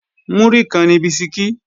Múrí kan ni bisikí